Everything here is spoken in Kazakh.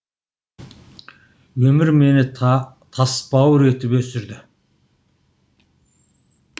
өмір мені тасбауыр етіп өсірді